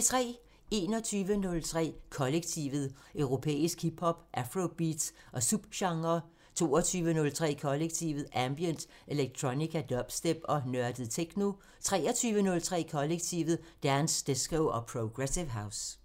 21:03: Kollektivet: Europæisk hip hop, afrobeats og subgenrer 22:03: Kollektivet: Ambient, electronica, dubstep og nørdet techno 23:03: Kollektivet: Dance, disco og progressive house